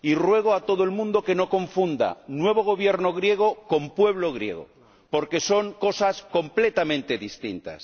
Y ruego a todo el mundo que no confunda al nuevo Gobierno griego con el pueblo griego, porque son cosas completamente distintas.